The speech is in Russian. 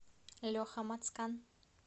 леха мацкан